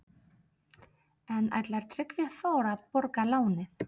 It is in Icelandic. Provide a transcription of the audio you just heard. En ætlar Tryggvi Þór að borga lánið?